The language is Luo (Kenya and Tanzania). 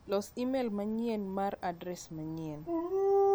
Los imel manyien mar adres manyien.